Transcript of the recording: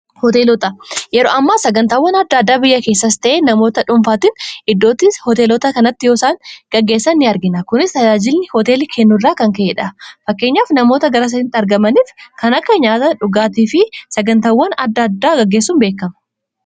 hooteelota yeroo ammaa sagantaawwan adda addaa biyya keessas ta'ee namoota dhuunfaatiin iddootti hooteelota kanatti yoosaan gaggeessa ni argina kunis tajaajilni hooteelii kennu irraa kan ka'edha fakkeenyaaf namoota garasatti argamaniif kan akka nyaata dhugaatii fi sagantaawwan adda addaa gaggeessuun beekama